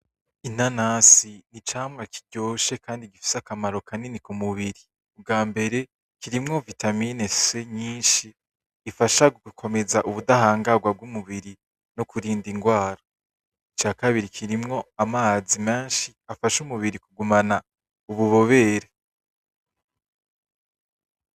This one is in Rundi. Inanasi icamwa kiryoshe kandi gifise akamaro kanini ku mubiri bwambere kirimwo vitamini c nyinshi ifasha gukomeza ubudahangarwa bw'umubiri nokurinda ingwara ica kabiri kirimwo amazi menshi afasha umubiri kugumana ububobere.